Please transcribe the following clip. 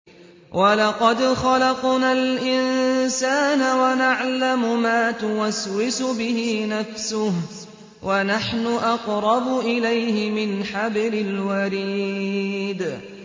وَلَقَدْ خَلَقْنَا الْإِنسَانَ وَنَعْلَمُ مَا تُوَسْوِسُ بِهِ نَفْسُهُ ۖ وَنَحْنُ أَقْرَبُ إِلَيْهِ مِنْ حَبْلِ الْوَرِيدِ